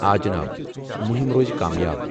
آ جناب، مُہم روز کامیاب۔